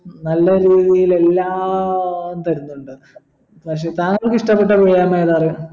നല്ല രീതിയിൽ എല്ലാം തരുന്നുണ്ട് പക്ഷെ താങ്കൾക്കിഷ്ട്ടപെട്ട വ്യായാമം എതാറിയ